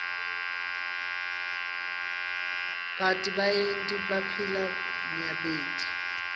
bartfu labaryenti baphila nyabed